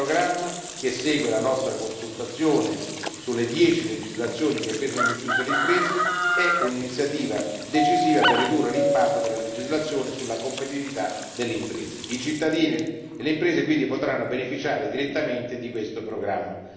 Il programma, che segue la nostra consultazione sulle dieci legislazioni che pesano di più sulle imprese, è un'iniziativa decisiva per ridurre l'impatto della legislazione sulla competitività delle imprese. I cittadini e le imprese quindi potranno beneficiare direttamente di questo programma.